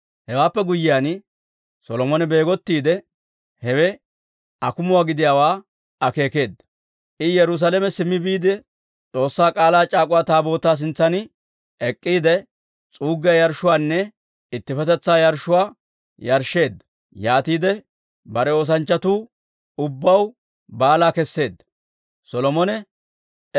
Hewaappe guyyiyaan Solomone beegottiide hewe akumuwaa gidiyaawaa akeekeedda. I Yerusaalame simmi biide, S'oossaa K'aalaa c'aak'uwaa Taabootaa sintsan ek'k'iide s'uuggiyaa yarshshuwaanne ittippetetsaa yarshshuwaa yarshsheedda. Yaatiide bare oosanchchatuu ubbaw baalaa keseedda.